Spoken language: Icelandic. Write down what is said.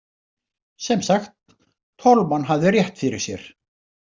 Sem sagt, Tolman hafði rétt fyrir sér.